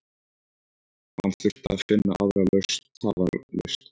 Hann þurfti að finna aðra lausn tafarlaust.